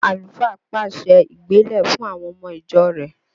Àlùfáà pàṣẹ ìgbélé fún àwọn ọmọ ìjọ rẹ̀